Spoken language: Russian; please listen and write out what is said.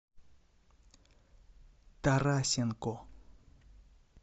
тарасенко